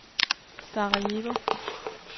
Sarajevo